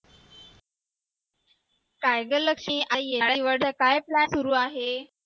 काय ग लक्ष्मी काय plan सुरू आहे